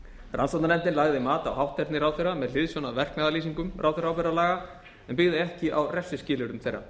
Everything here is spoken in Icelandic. rannsóknarnefndin lagði mat á hátterni ráðherra með hliðsjón af verknaðarlýsingum ráðherraábyrgðarlaga en byggði ekki á refsiskilyrðum þeirra